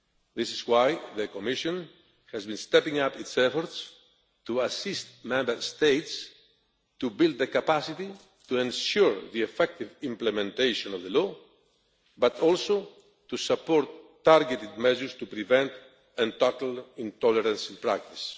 This is why the Commission has been stepping up its efforts to assist Member States to build the capacity to ensure the effective implementation of the law, but also to support targeted measures to prevent and tackle intolerance in practice.